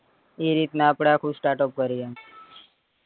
ઈ રીતે આપડે આપડું start up કરીએ એમ